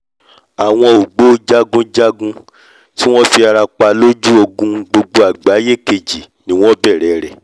àwọn ògbó-jagunjagun tí wọ́n fi ara pa lójú ogun gbogbo àgbáyé kejì ni wọ́n bẹ̀rẹ̀ rẹ̀